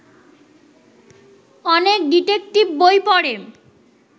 অনেক ডিটেকটিভ বই পড়ে